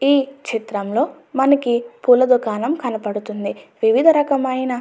ఈ చిత్రంలో పులదుఖాణం కనిపిస్తుంది వివిధ రకమైన--